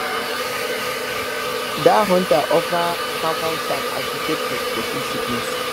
dat hunter offer pawpaw sap as detector for field sickness